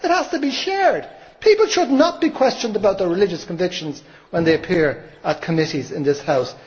It has to be shared. People should not be questioned about their religious convictions when they appear at committees in this House.